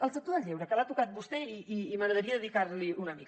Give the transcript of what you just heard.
el sector del lleure que l’ha tocat vostè i m’agradaria dedicar li una mica